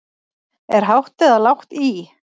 Er lágt eða hátt í?